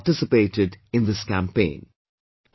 Thousands participated in this campaign